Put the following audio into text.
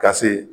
Ka se